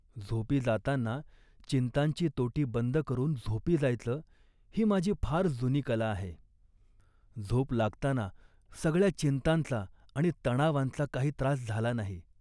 झोपी जातांना चिंतांची तोटी बंद करून झोपी जायचं ही माझी फार जुनी कला आहे. झोप लागताना सगळ्या चिंतांचा आणि तणावांचा काही त्रास झाला नाही